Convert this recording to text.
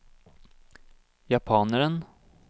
japaneren